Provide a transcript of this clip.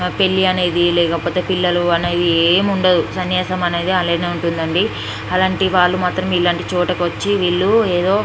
పెళ్లి అనేది లేకపోతే పిల్లలు అనేవి ఏముండదు సన్యాసం అనేది అలానే ఉంటుందండి అలాంటి వాళ్ళు మాత్రం ఇలాంటి చోటుకొచ్చి వీళ్ళు ఎదో --